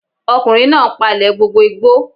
Ọkùnrin náà n palẹ̀ gbogbo igbó